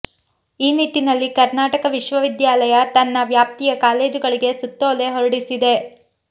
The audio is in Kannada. ಈ ನಿಟ್ಟಿನಲ್ಲಿ ಕರ್ನಾಟಕ ವಿಶ್ವವಿದ್ಯಾಲಯ ತನ್ನ ವ್ಯಾಪ್ತಿಯ ಕಾಲೇಜುಗಳಿಗೆ ಸುತ್ತೋಲೆ ಹೊರಡಿಸಿದೆ